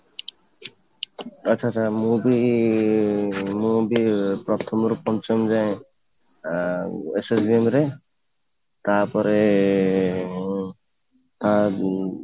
ଆଚ୍ଛା, ଆଚ୍ଛା ମୁଁ ବି ମୁଁ ବି ପ୍ରଥମ ରୁ ପଞ୍ଚମ ଯାଏଁ ଆଁ SSVM ରେ ତାପରେ ଆଁ ଉଁ